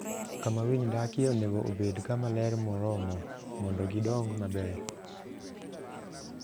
Kama winy dakie onego obed kama ler moromo mondo gidong maber.